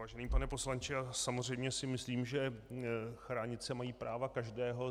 Vážený pane poslanče, samozřejmě si myslím, že chránit se mají práva každého.